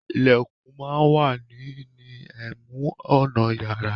Ìlẹ̀kùn máa wà ní ní ẹnu ọ̀nà yàrá.